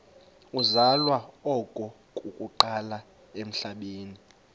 uzalwa okokuqala emhlabeni